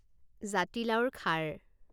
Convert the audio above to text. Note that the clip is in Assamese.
জাতিলাওৰ খাৰ